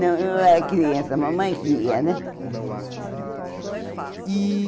Não, eu era criança, mamãe que ia, né? Ah e